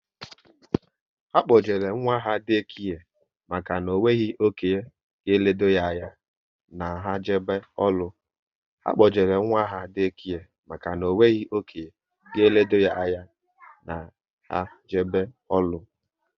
Ha kpojere nwa ha Day kare maka na onweghi okénye ga elode ya anya na ha jebe ọrụ